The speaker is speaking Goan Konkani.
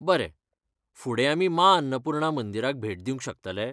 बरें, फुडें आमी माँ अन्नपूर्णा मंदिराक भेट दिवंक शकतले?